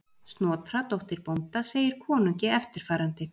Snotra dóttir bónda segir konungi eftirfarandi: